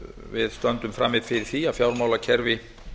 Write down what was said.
við stöndum frammi fyrir því að fjármálakerfi